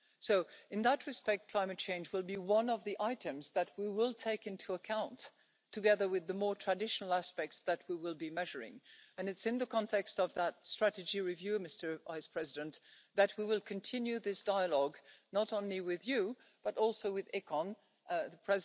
So in that respect, climate change will be one of the items that we will take into account, together with the more traditional aspects that we will be measuring, and it's in the context of that strategy review, Mr Vice President, that we will continue this dialogue, not only with you, but also with the Committee on Economic and Monetary Affairs The